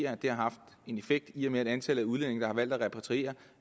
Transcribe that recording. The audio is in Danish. har haft en effekt i og med at antallet af udlændinge der har valgt at repatriere